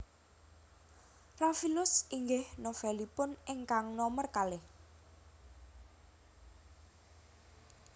Rafilus inggih novelipun ingkang nomer kalih